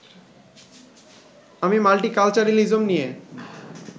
আমি মাল্টিকালচারিলিজম নিয়ে